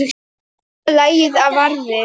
Sverða lagið varði.